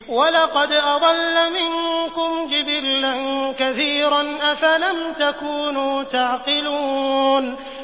وَلَقَدْ أَضَلَّ مِنكُمْ جِبِلًّا كَثِيرًا ۖ أَفَلَمْ تَكُونُوا تَعْقِلُونَ